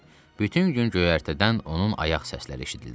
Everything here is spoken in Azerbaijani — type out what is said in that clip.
Bütün gün göyərtədən onun ayaq səsləri eşidildi.